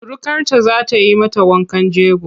Surukarta za ta yi mata wankan jego.